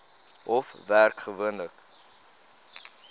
hof werk gewoonlik